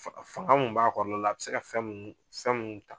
Fan fanga min b'a kɔrɔ la la a bɛ se ka fɛn minnu, fɛn minnu ta.